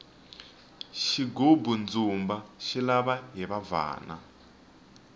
xigubu ndzumba xi lava hiva bvana